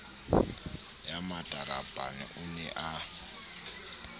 ya matarapane o ne a